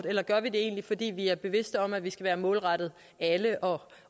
eller gør vi det egentlig fordi vi er bevidste om at vi skal være målrettet alle og